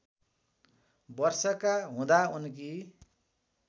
वर्षका हुँदा उनकी